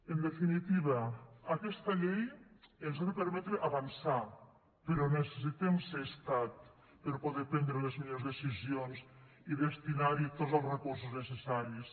en definitiva aquesta llei ens ha de permetre avançar però necessitem ser estat per poder prendre les millors decisions i destinarhi tots els recursos necessaris